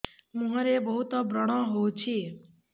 ମୁଁହରେ ବହୁତ ବ୍ରଣ ହଉଛି